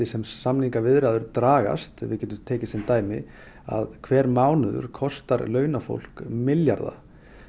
sem samningaviðræður dragast við getum tekið sem dæmi að hver mánuður kostar launafólk milljarða